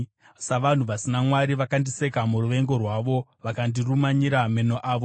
Savanhu vasina Mwari vakandiseka muruvengo rwavo; vakandirumanyira meno avo.